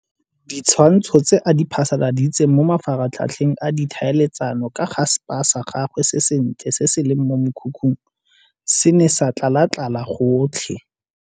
Ditshwantsho tse a di phasaladitseng mo mafaratlhatlheng a ditlhaeletsano ka ga spa sa gagwe se sentle se se leng mo mokhukhung se ne sa tlalatlala gotlhe.